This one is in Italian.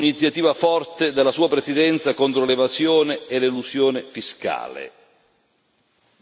E chiediamo un'iniziativa forte della sua Presidenza contro l'evasione e l'elusione fiscale.